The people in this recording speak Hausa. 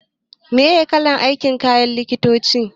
Me kalar kayan aikin likitoci?